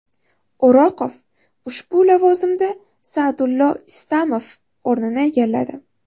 O‘roqov ushbu lavozimda Sa’dullo Istamov o‘rnini egalladi.